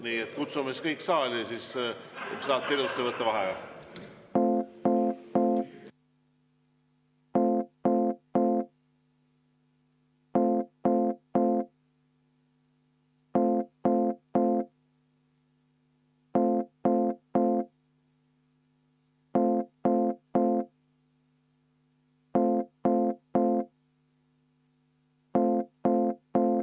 Nii et kutsume kõik saali, siis saate ilusti võtta vaheaja.